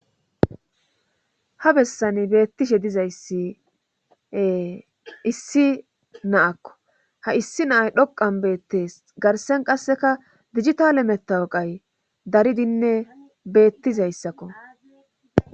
Ha bessan beettishe dizayssie issi naakko ha issi naay dhoqan beettees garsen qasseka digitale metawoqay daridinne beettizayssakko